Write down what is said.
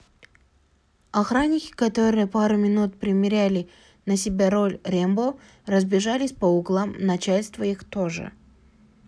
охранники которые пару минут примеряли на себя роль рембо разбежались по углам начальство их тоже